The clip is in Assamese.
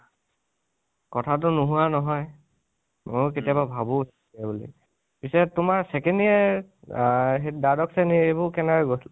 কথাতো নোহোৱা নহয়, মইয়ো কেতিয়াবা ভাবো সেইবুলি, পিছে তোমাৰ second year, আ দ্বাদশ শ্ৰণী এইবোৰ কেনেকোৱা গৈছিল